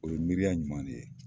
O ye miiriya ɲuman de ye.